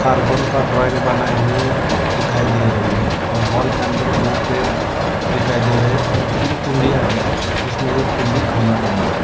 Carbon का drawing बनाए हुए दिखाई दे रही है और हॉल के अंदर दो पेड़ दिखाई दे रहे है और तीन कुंडिया है उसमे एक कुंडी खाली पड़ी हुई है।